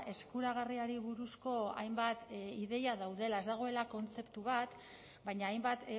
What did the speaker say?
eskuragarriari buruzko hainbat ideia daudela ez dagoela kontzeptu bat baina hainbat